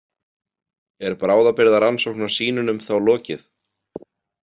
Er bráðabirgðarannsókn á sýnunum þá lokið?